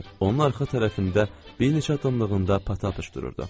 Onun arxa tərəfində bir neçə addımlığında Pataçıq fışdırırdı.